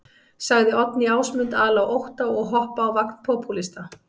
Sagði Oddný Ásmund ala á ótta og hoppa á vagn popúlista.